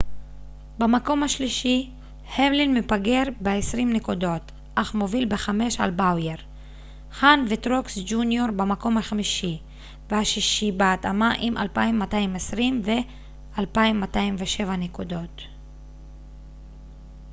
במקום השלישי המלין מפגר בעשרים נקודות אך מוביל בחמש על באוייר חהן וטרוקס ג'וניור במקום החמישי והשישי בהתאמה עם 2,220 ו-2,207 נקודות